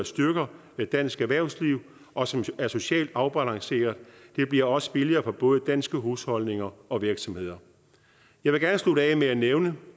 styrker dansk erhvervsliv og som er socialt afbalanceret det bliver også billigere for både danske husholdninger og virksomheder jeg vil gerne slutte af med at nævne